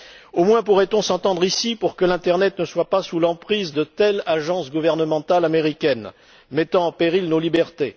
Au moins, pourrait on s'entendre ici pour que l'internet ne soit pas sous l'emprise de telle ou telle agence gouvernementale américaine, mettant en péril nos libertés.